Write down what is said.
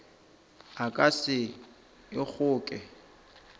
o ka se e kgoke